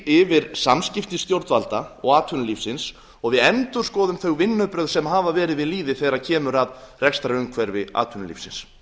yfir samskipti stjórnvalda og atvinnulífsins og við endurskoðum þau vinnubrögð sem hafa verið við lýði þegar kemur að rekstrarumhverfi atvinnulífsins